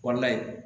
Kɔnɔna in